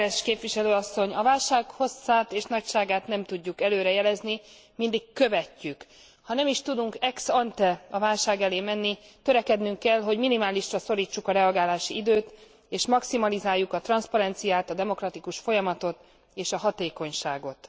Elnök úr! Biztos úr! Berès képviselő asszony! A válság hosszát és nagyságát nem tudjuk előre jelezni, mindig követjük. Ha nem is tudunk ex ante a válság elé menni, törekednünk kell, hogy minimálisra szorítsuk a reagálási időt, és maximalizáljuk a transzparenciát, a demokratikus folyamatot és a hatékonyságot.